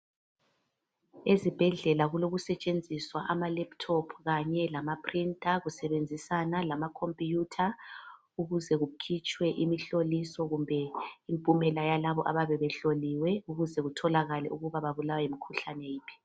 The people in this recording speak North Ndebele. Ezibhedlela kulokusetshenziswa ama lephuthopu Kanye lama pirinta kusebenzisana lamakhompuyutha ukuze kukhitshwe imhloliso kumbe impumela yalabo abayabe behloliwe ukuze kutholakale ukuba babulawa yimikhuhlane yiphi.